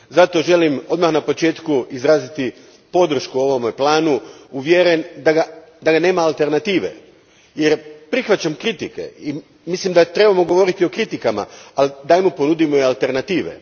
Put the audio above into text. Zato želim odmah na početku izraziti podršku ovome planu, uvjeren da mu nema alternative, jer prihvaćam kritike i mislim da trebamo govoriti o kritikama, al dajmo ponudimo i alternative.